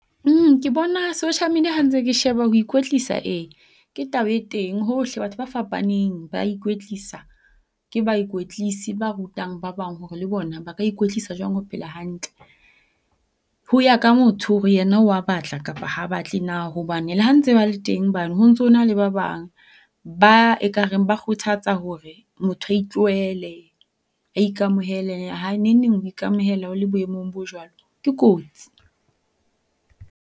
ke bona social media ha ntse ke sheba ho ikwetlisa, ee ke taba e teng hohle batho ba fapaneng ba ikwetlisa, ke baikwetlisi ba rutang ba bang hore le bona ba ka ikwetlisa jwang ho phela hantle. Ho ya ka motho hore yena wa batla kapa ha batle na hobane le ha ntse ba le teng bane ho ntsona le ba bang ba ekareng ba kgothatsa hore motho a itlohele a ikamohele. Ha neng neng ho ikamohela o le boemong bo jwalo, ke kotsi.